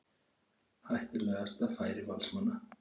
Hættulegasta færi Valsmanna.